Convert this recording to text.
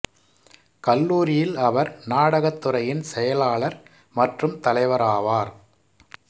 கல்லூரியில் அவர் நாடகத் துறையின் செயலாளர் மற்றும் தலைவர் ஆவார்